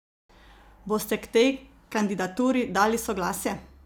Boste k tej kandidaturi dali soglasje?